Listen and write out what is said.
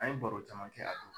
An ye baro caman kɛ a